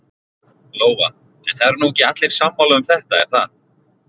Lóa: En það eru nú ekki allir sammála um þetta er það?